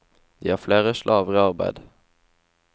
De har flere slaver i arbeid.